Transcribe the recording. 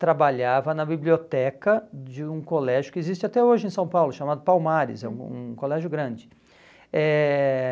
trabalhava na biblioteca de um colégio que existe até hoje em São Paulo, chamado Palmares, é um um colégio grande. Eh